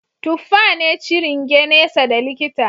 Tuffa ne ciringe nesa da likita